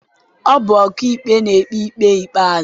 Ọ bụ ọkaikpe na-ekpe ikpe ikpeazụ